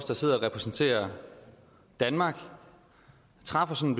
der sidder og repræsenterer danmark træffer sådan